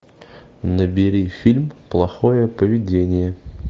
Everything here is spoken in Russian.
набери фильм плохое поведение